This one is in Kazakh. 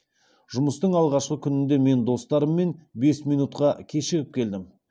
жұмыстың алғашқы күнінде мен достарыммен бес минутқа кешігіп келдім